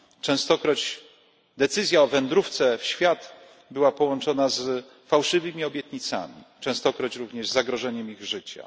Częstokroć decyzja o wędrówce w świat była połączona z fałszywymi obietnicami, częstokroć również z zagrożeniem życia.